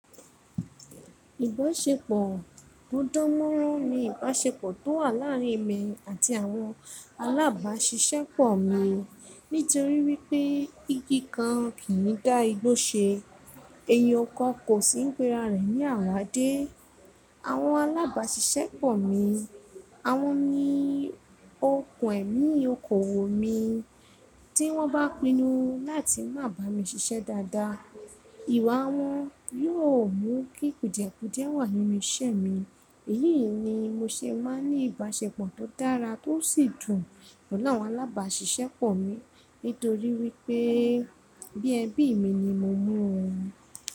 Ìbáṣepọ̀ ọdọ́mọrán ni ìbáṣepọ̀ tó wà láàrin èmi àti àwọn alábàáṣiṣẹ́ pọ̀ mi nítorí wípé igi kan kì í dá igbó ṣe, ẹyin kan kò sí ń péra rẹ̀ ní àwáádé. Àwọn alábàáṣiṣẹ́ pọ̀ mi, àwọn ni okùn ẹ̀mí okoòwò mi, tí wọ́n bá pinnu láti má bà mí síṣẹ́ dáadáa, ìwà wọn yóò mú kí kùdìẹ̀kùdìẹ wà nínú iṣẹ́ mi, èyí ni mo ṣe máa ní ìbáṣepọ̀ tó dára tó sì dùn pẹ̀lú àwọn alábàáṣiṣẹ́ pọ̀ mi nítorí wípé bí ẹ̀bi mi ni mo mọ̀ wọ́n.